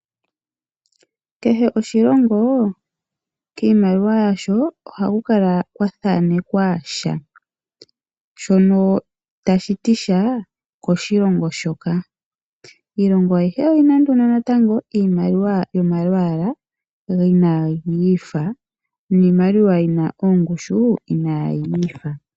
Kehe oshilongo kiimaliwa yasho ohaku kala kwa thaanekwa sha shono tashi ti sha koshilongo shoka. Iilongo ayihe oyina wo iimaliwa yomalwaala ga yooloka noshowo ongushu ya yooloka.